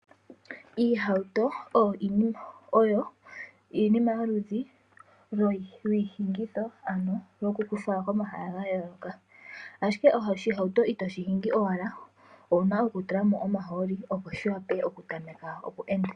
Iihauto oyo iinima yoludhi lwiiyenditho ano yo kutu fala komahala ga yooloka. Oshihauto itoshi hingi owala owuna oku tulamo omahooli opo shiwape oku tameka oku enda.